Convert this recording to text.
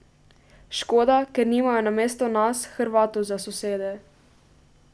Škoda, ker nimajo namesto nas, Hrvatov za sosede.